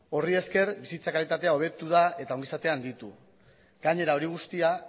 horri esker bizitza kalitatea hobetu da eta ongi izatea handitu gainera hori guztia